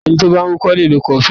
Ẹni tí ó bá ń wúkọ́ lè lo kọfulíìnì.